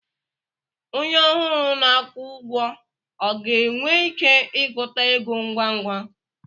Onye ọhụrụ na-akwụ ụgwọ ọ ga-enwe ike ịgụta ego ngwa ngwa?